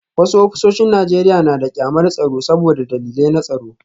Wasu ofisoshin Najeriya na da kyamarar tsaro saboda dalilai na tsaro